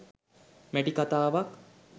මැටි කතාවක්